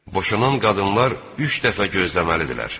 Boşanan qadınlar üç dəfə gözləməlidirlər.